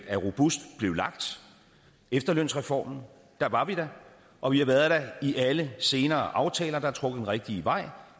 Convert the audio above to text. er robust blev lagt efterlønsreformen der var vi der og vi har været der i alle senere aftaler der har trukket den rigtige vej